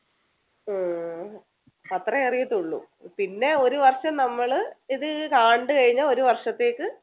ഉം അത്രേ അറിയത്തൊള്ളൂ? പിന്നെ ഒരു വർഷം നമ്മള് ഇത് ആണ്ടു കഴിഞ്ഞ ഒരു വർഷത്തേക്ക്